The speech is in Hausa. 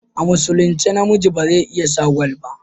A musulince namiji beze iya sa gwal ba